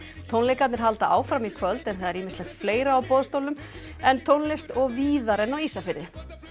tónleikarnir halda áfram í kvöld en það er ýmislegt fleira á boðstólum en tónlist og víðar en á Ísafirði